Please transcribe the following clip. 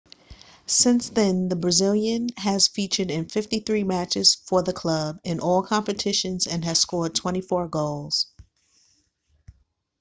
since then the brazilian has featured in 53 matches for the club in all competitions and has scored 24 goals